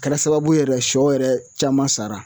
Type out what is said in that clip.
Kɛra sababu ye yɛrɛ sɔ yɛrɛ caman sara